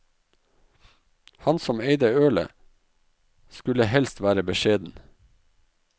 Han som eide ølet, skulle helst være beskjeden.